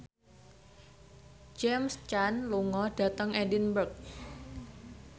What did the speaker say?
James Caan lunga dhateng Edinburgh